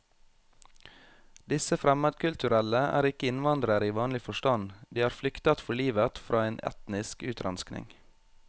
Disse fremmedkulturelle er ikke innvandrere i vanlig forstand, de har flyktet for livet fra en etnisk utrenskning.